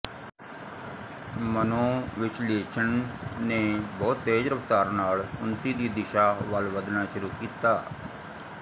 ਮਨੋਵਿਸ਼ਲੇਸ਼ਣ ਨੇ ਬਹੁਤ ਤੇਜ਼ ਰਫਤਾਰ ਨਾਲ ਉਨਤੀ ਦੀ ਦਿਸ਼ਾ ਵੱਲ ਵੱਧਣਾ ਸ਼ੁਰੂ ਕੀਤਾ